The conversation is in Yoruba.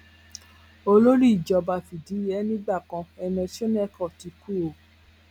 olórí ìjọba fìdíhe nígbà kan ernest shonekan ti kú o